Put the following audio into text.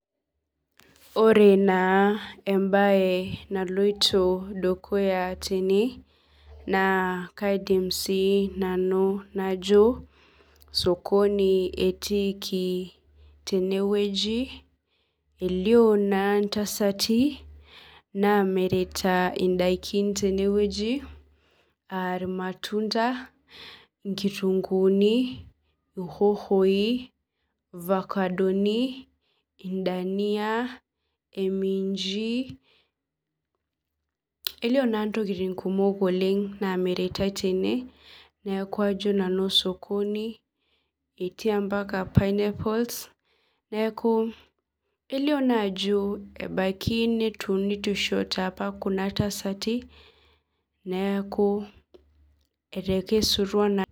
Ore naa embaye naloito dukuya tene naa kaidim siinanu najo sokoni etiiki tene wueji elio naa intasati naamirita indaikin tenewueji aa irmatunda inkitunkuuni hoho dania imiinji elio naa intokitin kumok naamiritae tene neeku ajo nanu sokoni etii ompaka pinapols neeku ebaiki netuunishote apa kuna tasati neeku etekesutua naa